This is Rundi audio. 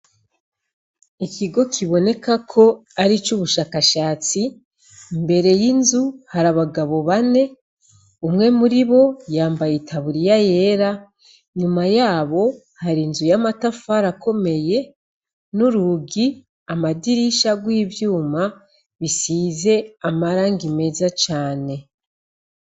Ikigo kibonekako kwaricubushakashatsi imbere yinzu hari abagabo bane umwe muribo yambaye itaburiya yera nyuma yabo harinzu yamatafari akomeye nurugi amadirisha yivyuma bisize amarangi meza cane